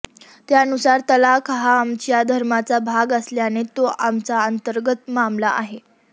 त्यानुसार तलाक हा आमच्या धर्माचा भाग असल्याने तो आमचा अंतर्गत मामला आहे